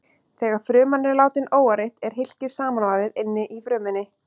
Þegar fruman er látin óáreitt er hylkið samanvafið inni í frumunni.